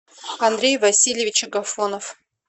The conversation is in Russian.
андрей васильевич агафонов